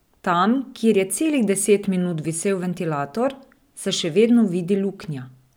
Tam, kjer je celih deset minut visel ventilator, se še vedno vidi luknja.